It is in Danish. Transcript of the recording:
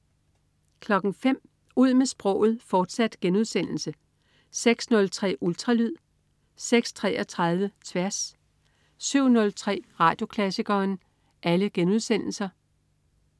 05.00 Ud med sproget, fortsat* 06.03 Ultralyd* 06.33 Tværs* 07.03 Radioklassikeren*